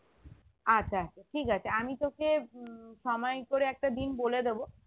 আচ্ছা আচ্ছা ঠিক আছে আমি তোকে উম সময় করে একটা দিন বলে দেব